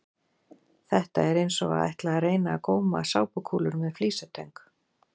Þetta er eins og að ætla að reyna að góma sápukúlur með flísatöng!